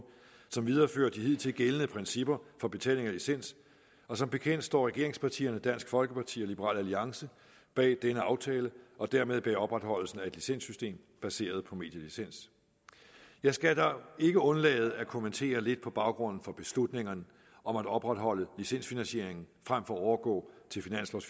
som viderefører de hidtil gældende principper for betaling af licens og som bekendt står regeringspartierne dansk folkeparti og liberal alliance bag denne aftale og dermed bag opretholdelsen af et licenssystem baseret på medielicens jeg skal da ikke undlade at kommentere lidt på baggrunden for beslutningerne om at opretholde licensfinansieringen frem for at overgå til